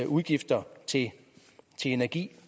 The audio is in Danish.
udgifter til energi